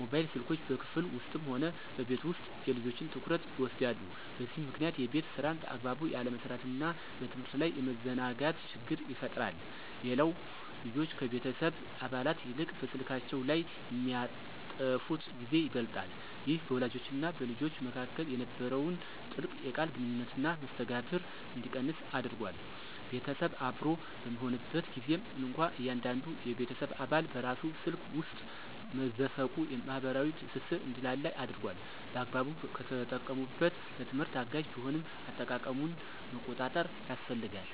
ሞባይል ስልኮች በክፍል ውስጥም ሆነ በቤት ውስጥ የልጆችን ትኩረት ይወስዳሉ፤ በዚህም ምክንያት የቤት ሥራን በአግባቡ ያለመስራትና በትምህርት ላይ የመዘናጋት ችግር ይፈጠራል። ሌላው ልጆች ከቤተሰብ አባላት ይልቅ በስልካቸው ላይ የሚያጠፉት ጊዜ ይበልጣል። ይህ በወላጆችና በልጆች መካከል የነበረውን ጥልቅ የቃል ግንኙነትና መስተጋብር እንዲቀንስ አድርጓል። ቤተሰብ አብሮ በሚሆንበት ጊዜም እንኳ እያንዳንዱ የቤተሰብ አባል በራሱ ስልክ ውስጥ መዘፈቁ የማኅበራዊ ትስስር እንዲላላ አድርጓል። በአግባቡ ከተጠቀሙበት ለትምህርት አጋዥ ቢሆንም፣ አጠቃቀሙን መቆጣጠር ያስፈልጋል።